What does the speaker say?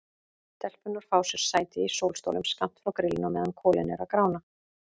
Stelpurnar fá sér sæti í sólstólum skammt frá grillinu á meðan kolin eru að grána.